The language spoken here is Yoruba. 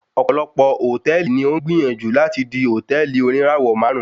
Ọ̀pọ̀lọpọ̀ Hòtẹ́ẹ̀lì ni ó ń gbìyànjú láti di hòtẹ́ẹ̀lì oníràwọ̀ máàrún.